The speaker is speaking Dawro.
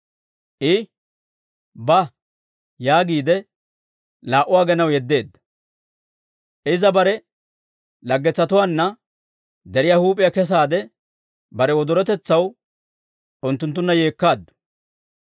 I, «Ba» yaagiide, laa"u aginaw yeddeedda; iza bare laggetsatuwaanna deriyaa huup'iyaa kesaade bare wodorotetsaw unttunttunna yeekkaaddu.